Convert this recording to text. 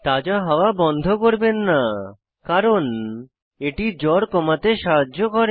তাজা হাত্তয়া বন্ধ করবেন না কারণ এটি জ্বর কম করতে সাহায্য করে